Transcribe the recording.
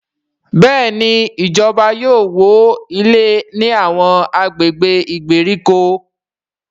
Béèni ìjọba yóò wọ ilé ní Àwọn agbègbè ìgbèríko.